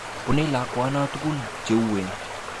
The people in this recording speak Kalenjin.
Bune lakwano tukun cheuwen.